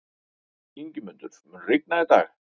Ingimundur, mun rigna í dag?